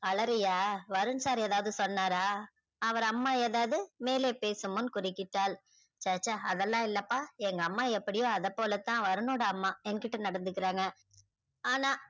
அழறியா Varun sir எதாவது சொன்னார அவர் அம்மா எதாவுது மேலே பேசும் போது குருக்கிட்டால ச ச அதலாம் இல்ல பா எங்க அம்மா எப்படியோ அதா போலதா வருண் நோட அம்மா யா கிட்ட நடந்துகுறாங் ஆனா